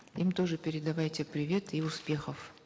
им тоже передавайте привет и успехов